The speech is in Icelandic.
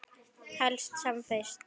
Helst sem fyrst.